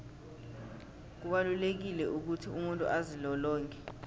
kubalulekile ukuthi umuntu azilolonge